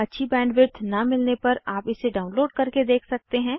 अच्छी बैंडविड्थ न मिलने पर आप इसे डाउनलोड करके देख सकते हैं